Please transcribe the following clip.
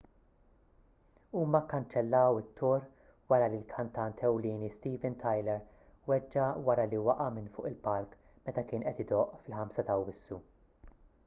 huma kkanċellaw it-tour wara li l-kantant ewlieni steven tyler weġġa' wara li waqa' minn fuq il-palk meta kien qed idoqq fil-5 ta' awwissu